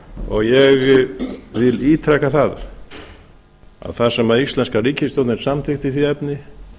og ég vil ítreka það að það sem íslenska ríkisstjórnin samþykkti í því efni